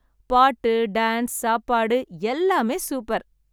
பாட்டு, டான்ஸ், சாப்பாடு எல்லாமே சூப்பர்!